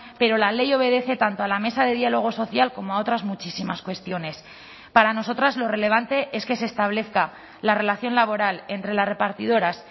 pero la ley obedece tanto a la mesa de diálogo social como a otras muchísimas cuestiones para nosotras lo relevante es que se establezca la relación laboral entre las repartidoras